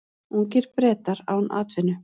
Ungir Bretar án atvinnu